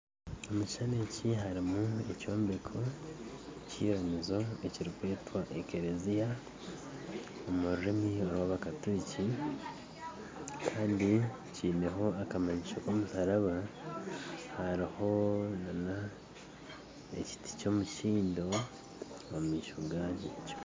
Omukishushani eki harumu ekyombeko ky'iramizo ekirukwetwa ekereziya omu rurimi rw'abakaturiki Kandi kyineho akamanyiso k'omusharaba hariho na ekiti kyomukindo omu maisho gakyo.